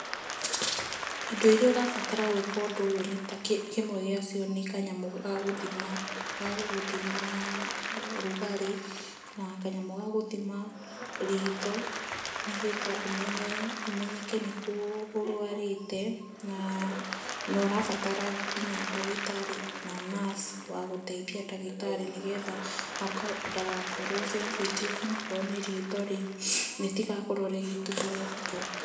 Indo iria ũrabatara gwĩka ũndũ ũyũ nĩ ta kĩmwe gĩacio ni kanyamũ ga gũthima ga gũgũthima rugarĩ na kanyamũ ga gũthima ritho, nĩ getha ũmenyeke nĩkũ ũrwarĩte. Na ũrabatara nginya ndagĩtarĩ na nurse wa gũteithia ndagĩtari ni getha ndagakorwo e sensitive na akorwo nĩ ritho rĩu rĩtigakorwo rĩgituĩka rĩa gũthũka.